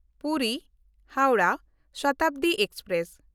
ᱯᱩᱨᱤ–ᱦᱟᱣᱨᱟ Shatabdi express